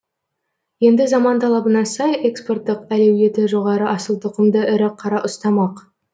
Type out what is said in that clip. енді заман талабына сай экспорттық әлеуеті жоғары асыл тұқымды ірі қара ұстамақ